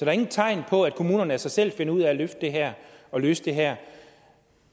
er ingen tegn på at kommunerne af sig selv finder ud af at løfte det her og løse det her